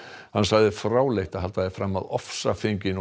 hann sagði fráleitt að halda því fram að ofsafengin og